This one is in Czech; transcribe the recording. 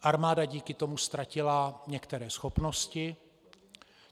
Armáda díky tomu ztratila některé schopnosti.